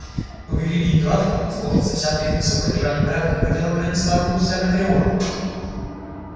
по велению императора на нас ложится вся ответственность за поддержание порядка в пределах границ старой области анакреона